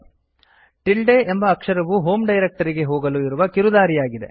tilde ಎಂಬ ಅಕ್ಷರವು home ಡೈರಕ್ಟರಿಗೆ ಹೋಗಲು ಇರುವ ಕಿರುದಾರಿಯಾಗಿದೆ